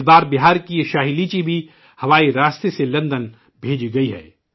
اس بار بہار کی یہ 'شاہی لیچی' بھی فضائی راستے سے لندن بھیجی گئی ہے